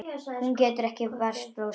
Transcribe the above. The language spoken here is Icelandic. Hún getur ekki varist brosi.